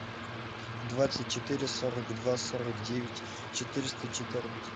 двадцать четыре сорок два сорок девять четыреста четырнадцать